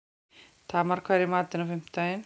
Tamar, hvað er í matinn á fimmtudaginn?